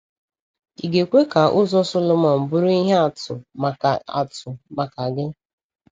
Ị ga-ekwe ka ụzọ Sọlọmọn bụrụ ihe atụ maka atụ maka gị?